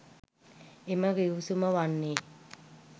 එම ගිවිසුම වන්නේ